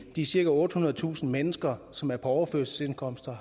de cirka ottehundredetusind mennesker som er på overførselsindkomster